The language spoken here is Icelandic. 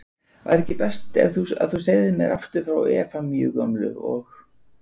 Væri ekki best að þú segðir mér aftur frá Efemíu gömlu. og